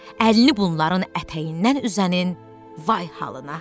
Əlini bunların ətəyindən üzənin vay halına.